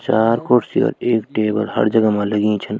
चार कुर्सी और एक टेबल हर जगा मा लगी छन।